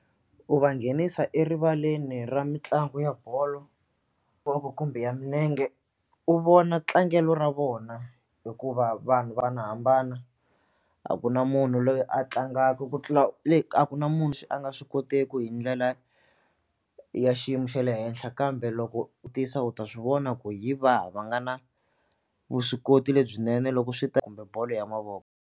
U va nghenisa erivaleni ra mitlangu ya bolo kumbe ya milenge u vona tlangelo ra vona hikuva hambanahambana a ku na munhu loyi a tlangaka ku tlula le a ku na munhu xi a nga swi kotiki hi ndlela ya xiyimo xa le henhla kambe loko u tiyisa u ta swi vona ku hi vahi va nga na vuswikoti lebyinene loko swi ta kumbe bolo ya mavoko.